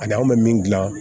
Ani anw bɛ min dilan